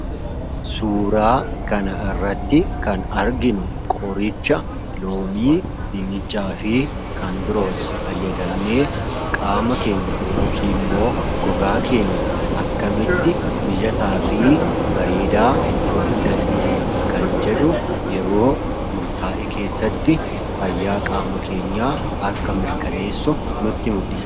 Suura kana irratti kan arginu qoricha Loomii, Dinnichaafi kan biroos fayyadamnee qaama keenya yookiin immoo gogaa keenya akkamitti mijataafi bareedaa godhuu dandeenya kan jedhu yeroo murtaa'e keessatti fayyaa qaama keenyaa akka mirkaneessu nutti mul'isa.